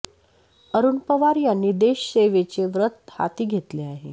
अरुण पवार यांनी देश सेवेचे व्रत हाती घेतले आहे